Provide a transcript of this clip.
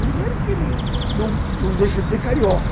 Primeiro que ele não não deixa de ser carioca.